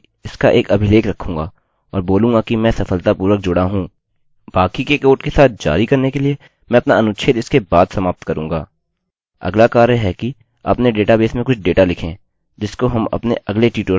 अगला कार्य है कि अपने डेटाबेस में कुछ डेटा लिखें जिसको हम अपने अगले ट्यूटोरियल में समाविष्ट करेंगे